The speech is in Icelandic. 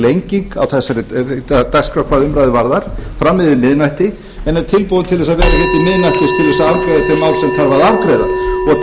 lenging á dagskrá hvað umræðu varðar fram yfir miðnætti en er tilbúinn að vera hér til miðnættis til þess að afgreiða þau mál sem þarf að afgreiða og